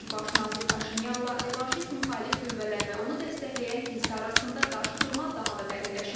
Baş nazir Paşinyanla revanşist müxalif qüvvələr və onu dəstəkləyən kilsə arasında qarşıdurma daha da dərinləşib.